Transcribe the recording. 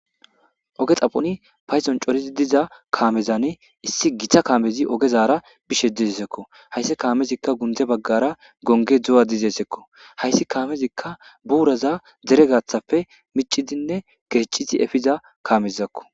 Oge xaphoni padon c'orizi diza kaamezan issi githa kaamezi ogezara bishe dizesekko hayssi kaamezikka gundze baggara gonge dzu7a dizeesekko hayssi kaamezikka buuraza dere gaathappe micidinne gecizi efiza kamezakko